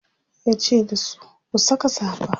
yace dasu "ku Saka safa!"